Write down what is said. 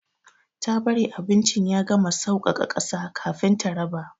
Ta bari abincin ya gama sauƙaƙa ƙasa kafin ta raba.